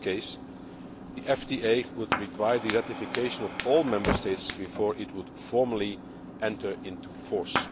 In this case, the FTA would require the ratification of all Member States before formally entering into force.